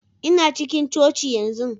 Ina cikin coci yanzu.